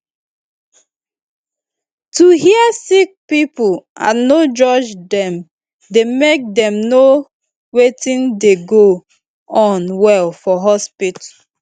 to hear sick pipo and no judge dem dey make dem know wetin dey go on well for hospitu